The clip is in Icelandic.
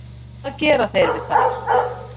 Hvað gera þeir við þær?